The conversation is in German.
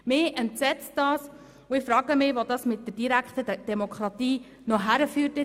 Das entsetzt mich, und ich frage mich, wohin das die direkte Demokratie führen wird.